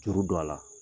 Juru don a la